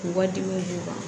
K'u ka dimi d'u ma